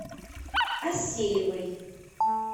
асеевой